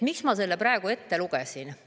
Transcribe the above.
Miks ma selle praegu ette lugesin?